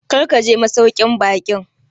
Kar ka je masauƙin baƙin!